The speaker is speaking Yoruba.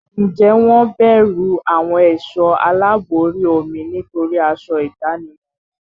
Ǹjẹ́ wọ́n bẹ̀rù àwọn ẹ̀sọ́ aláàbò orí omi nítorí aṣọ ìdánimọ̀ wọn?